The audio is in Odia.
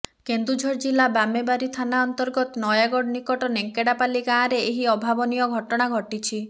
କେନ୍ଦୁଝର ଜିଲ୍ଲା ବାମେବାରୀ ଥାନା ଅନ୍ତର୍ଗତ ନୟାଗଡ଼ ନିକଟ ନେଙ୍କଡ଼ାପାଲୀ ଗାଁରେ ଏହି ଅଭାବନୀୟ ଘଟଣା ଘଟିଛି